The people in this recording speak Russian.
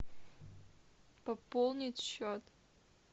пополнить счет